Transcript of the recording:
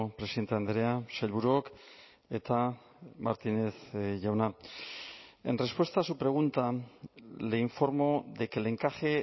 presidente andrea sailburuok eta martínez jauna en respuesta a su pregunta le informo de que el encaje